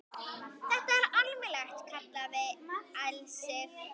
Þetta er almennt kallað ilsig